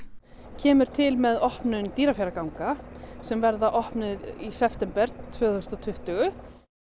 kemur til með opnun Dýrafjarðarganga sem verða opnuð í september tvö þúsund og tuttugu